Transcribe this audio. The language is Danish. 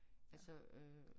Altså øh